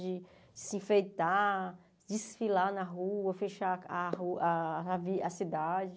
De se enfeitar, desfilar na rua, fechar a ru a ravi a cidade.